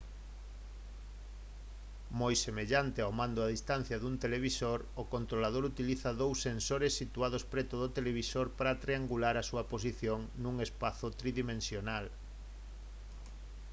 moi semellante ao mando a distancia dun televisor o controlador utiliza dous sensores situados preto do televisor para triangular a súa posición nun espazo tridimensional